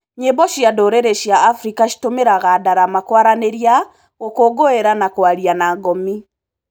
Nyĩmbo cia ndũrĩrĩ cia Afrika citũmĩraga darama kwaranĩria, gũkũngũira na kwaria na ngomi.